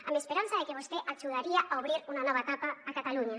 amb esperança de que vostè ajudaria a obrir una nova etapa a catalunya